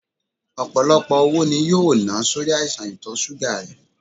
Ọpọlọpọ owó ni yoo na sori aisan itọ ṣuga rẹ